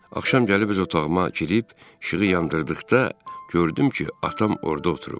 Axşam gəlib öz otağıma girib işığı yandırdıqda gördüm ki, atam orda oturub.